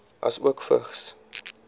asook vigs